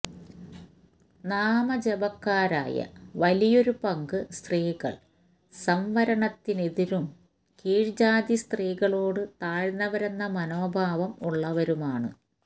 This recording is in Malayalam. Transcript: നാമജപക്കാരായ വലിയൊരു പങ്ക് സ്ത്രീകള് സംവരണത്തിനെതിരും കീഴ് ജാതി സ്ത്രീകളോട് താഴ്ന്നവരെന്ന മനോഭാവം ഉള്ളവരുമാണ്